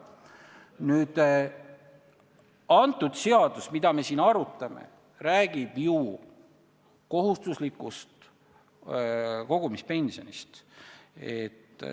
Nüüd, see seadus, mida me siin arutame, räägib ju kohustuslikust kogumispensionist.